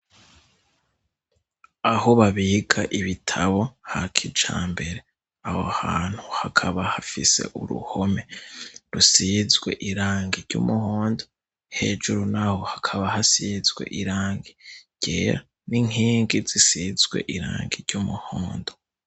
Aho babika ibitabo hakijambere, aho hantu hakaba hafise uruhome rusizwe irangi ry'umuhondo hejuru naho hakaba hasizwe irangi ryera n'inkingi zisizwe irangi ry'umuhondo.